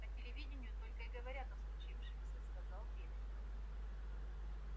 по телевиденью только и говорят о случившемся сказал бедренец